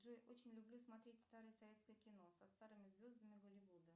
джой очень люблю смотреть старое советское кино со старыми звездами голливуда